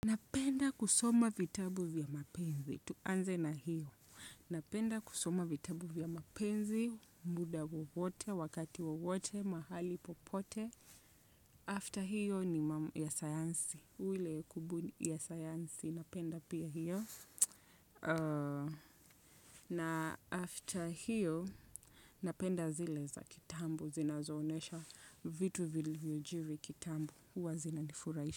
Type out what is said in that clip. Napenda kusoma vitabu vya mapenzi tuanze na hiyo. Napenda kusoma vitabu vya mapenzi, muda wowote, wakati wowote, mahali popote. After hiyo ni mamu ya sayansi. Ule kubuni ya sayansi. Napenda pia hiyo. Na after hiyo, napenda zile za kitambo. Zina zoonesha vitu vilivyojiri kitambo. Huwa zina nifuraisha.